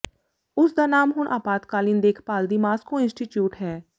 ਉਸ ਦਾ ਨਾਮ ਹੁਣ ਆਪਾਤਕਾਲੀਨ ਦੇਖਭਾਲ ਦੀ ਮਾਸ੍ਕੋ ਇੰਸਟੀਚਿਊਟ ਹੈ